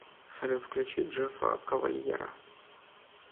салют включи джеффа кавальера